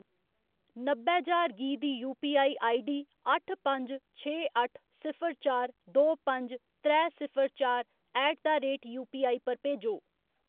नब्बै ज्हार गी दी यूपीआई आईडीडी अट्ठ पंज छे अट्ठ सिफर चार दो पंज त्रै सिफर चार ऐट द रेट यूपीआई पर भेजो।